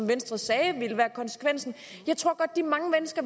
venstre sagde ville være konsekvensen jeg tror at de mange mennesker